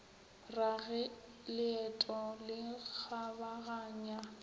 ra ge leeto le kgabaganya